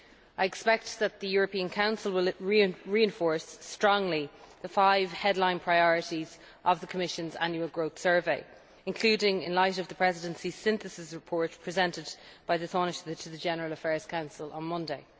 I expect that the European Council will reinforce strongly the five headline priorities of the Commission's Annual Growth Survey, including doing so in light of the Presidency Synthesis Report presented by the Tánaiste to the General Affairs Council on Monday.